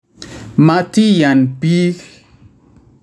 Matiyan piik